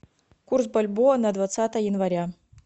курс бальбоа на двадцатое января